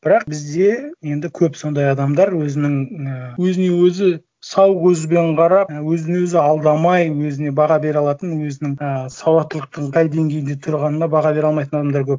бірақ бізде енді көп сондай адамдар өзінің ыыы өзіне өзі сау көзбен қарап өзін өзі алдамай өзіне баға бере алатын өзінің ы сауаттылықтың қай деңгейде тұрғанына баға бере алмайтын адамдар көп